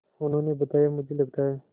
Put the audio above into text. उन्होंने बताया मुझे लगता है